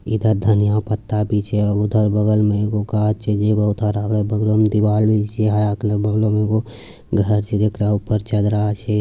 इधर धनिया पत्ता भी छै उधर बगल में एगो गाछ छे जे बहुत हरा -भरा बगलो म दिवाल भी छै आर आकरे बगलो में एगो घर छै जेकरा ऊपर चदरा छै|